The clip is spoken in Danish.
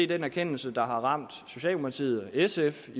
den erkendelse der har ramt socialdemokratiet og sf